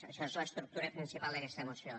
això és l’estructura principal d’aquesta moció